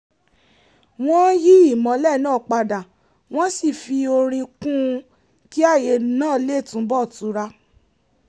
wọ́n yí ìmọ́lẹ̀ náà padà wọ́n sì fi orin kún un kí ààyè náà lè túnbọ̀ tura